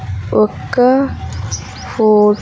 ఒక్క ఫోర్ --